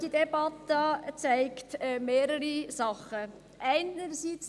Die Debatte zeigt mehrere Dinge auf.